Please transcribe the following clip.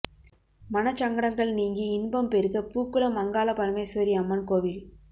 மனச்சங்கடங்கள் நீங்கி இன்பம் பெறுக பூக்குளம் அங்காள பரமேஸ்வரி அம்மன் கோவில்